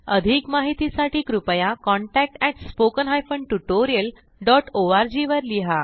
अधिक माहितीसाठी कृपया contact at spoken hyphen tutorial dot ORG वर लिहा